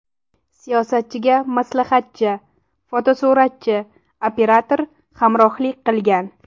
Siyosatchiga maslahatchi, fotosuratchi, operator hamrohlik qilgan.